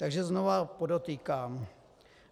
Takže znova podotýkám.